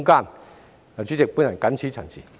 代理主席，我謹此陳辭。